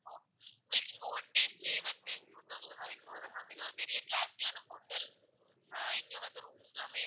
உங்கள்க்கு இங்க one day stay வந்து two thousand வரைக்கும் வரும் ma'am. இது ஒரு பெரிய classy யான hotel ஆஹ் இங்க வந்து room எல்லாமே,